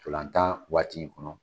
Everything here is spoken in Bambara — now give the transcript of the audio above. Tolan waati in kɔnɔ